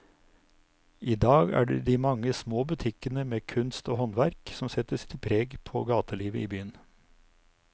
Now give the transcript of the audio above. I dag er det de mange små butikkene med kunst og håndverk som setter sitt preg på gatelivet i byen.